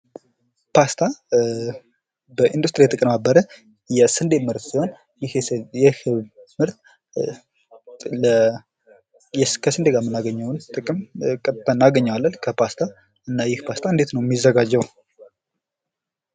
ፓስታ በኢንዱስትሪ የተቀነባበረ የስዴ ምርት ሲሆን ይህ የስዴ ምርት ከስዴ ጋ የምናገኘውን ጥቅም ቀጥታ እናገኘዋለን ከፓስታ። እና ይሄ ፓስታ እንዴት ነው የሚዘጋጀው ነው?